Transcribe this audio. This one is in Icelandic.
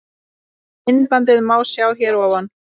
Myndbandið má sjá hér fyrir ofan.